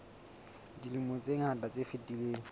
dilemong tse ngata tse fetileng